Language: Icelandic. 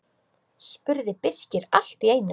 spurði Birkir allt í einu.